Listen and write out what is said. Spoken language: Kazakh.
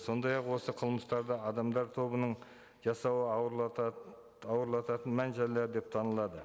сондай ақ осы қылмыстарды адамдар тобының жасауы ауырлататын мән жайлар деп танылады